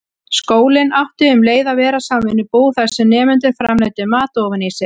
Skólinn átti um leið að vera samvinnubú, þar sem nemendur framleiddu mat ofan í sig.